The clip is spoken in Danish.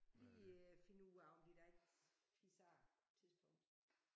Lige finde ud af om de da ikke fiser af tidspunkt